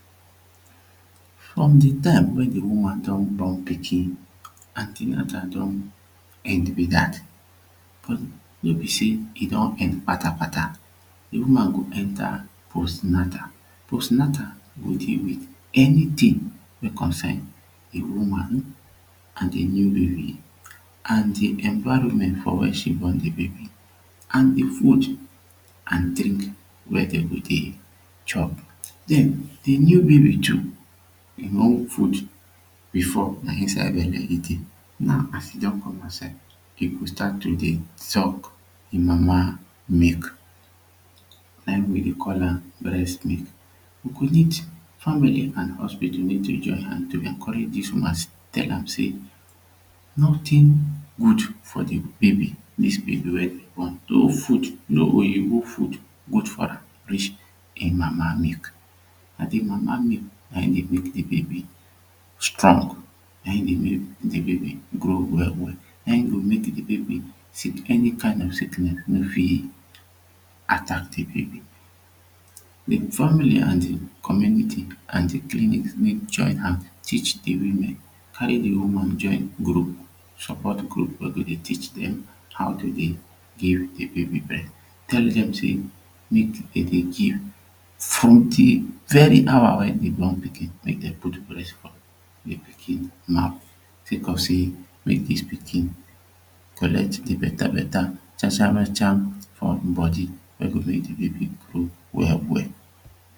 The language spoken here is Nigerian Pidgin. from de time wey de woman don born pikin anti-natal don end be dat no be sey e don end patakpata de woman go enta post-natal. Post natal dey deal with anytin wey concern de woman an de new baby an de environment for wia she born de baby an de food an de drink wey dey go dey chop den de new baby too e own food before na inside bele e dey dey now as e don come outside e go start to dey suck e mama milk na him we dey call am breast milk we go need family an hopital mek dem join hand to encourage dis woman tell am say notin good for de baby; dis baby we you born so food na oyibo food good for her reach e mama milk. na e mama milk na him dey mek dey baby strong, na him dey make de baby grow well na him go mek de baby sick any kind of sicknes fit attack de baby but family an de community an de clinic need join hand teach the women carry de women join grow support group wey go dey teach dem how to dey de baby breast tell dem say mek dem dey give fruit de very hour wey de baby born pikin mek dem put breast for de pikin mouth sek of sey mek dis pikin collect dey beta beta chacharacham for him body wey go make de baby grow well well